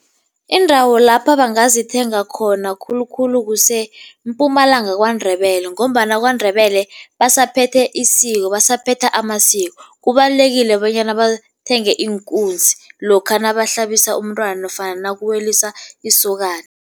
Indawo lapha bangazithenga khona khulukhulu kuseMpumalanga KwaNdebele ngombana KwaNdebele basaphethe isiko, basaphethe amasiko. Kubalulekile bonyana bathenge iinkunzi lokha nabahlabisa umntwana nofana nakuweliswa isokana.